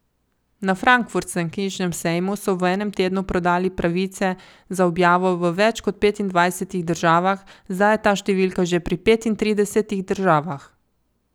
Na frankfurtskem knjižnem sejmu so v enem tednu prodali pravice za objavo v več kot petindvajsetih državah, zdaj je ta številka že pri petintridesetih državah.